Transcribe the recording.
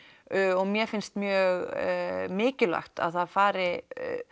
og mér finnst mjög mikilvægt að það fari